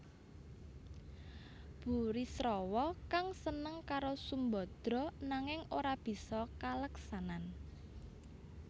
Burisrawa kang seneng karo Sumbadra nanging ora bisa kaleksanan